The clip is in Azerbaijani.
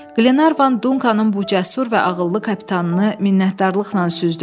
Qlenarvan Dunkanın bu cəsur və ağıllı kapitanını minnətdarlıqla süzdü.